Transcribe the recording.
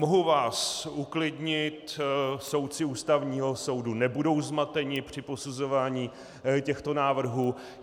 Mohu vás uklidnit, soudci Ústavního soudu nebudou zmateni při posuzování těchto návrhů.